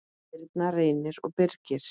Birna, Reynir og Birgir.